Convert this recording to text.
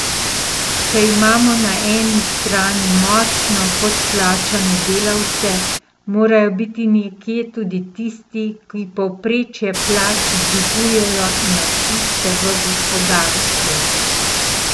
Če imamo na eni strani močno podplačane delavce, morajo biti nekje tudi tisti, ki povprečje plač dvigujejo nad tiste v gospodarstvu.